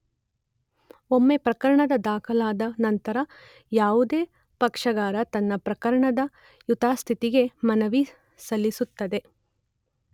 ಒಮ್ಮೆ ಪ್ರಕರಣ ದಾಖಲಾದ ನಂತರ ಯಾವುದೇ ಪಕ್ಷಗಾರ ತನ್ನ ಪ್ರಕರಣದ ಯಥಾಸ್ಥಿತಿಗೆ ಮನವಿ ಸಲ್ಲಿಸುತ್ತದೆ.